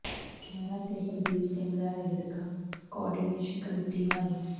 ਖਹਿਰਾ ਤੇ ਬਲਬੀਰ ਸਿੰਘ ਦਾ ਰੇੜਕਾ ਕੋਆਰਡੀਨੇਸ਼ਨ ਕਮੇਟੀ ਹਵਾਲੇ